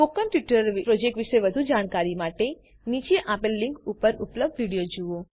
spoken tutorial project વિષે વધુ જાણવા માટે નીચે આપેલ લીંક ઉપર ઉપલબ્ધ વિડીઓ જુઓ